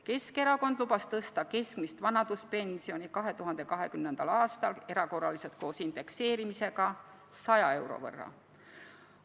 Keskerakond lubas tõsta keskmist vanaduspensioni 2020. aastal erakorraliselt, koos indekseerimisega 100 euro võrra.